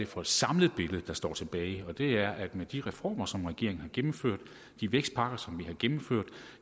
for et samlet billede der står tilbage og det er at med de reformer som regeringen har gennemført de vækstpakker som vi har gennemført